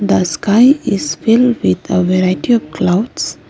The sky is filled with a variety of clouds.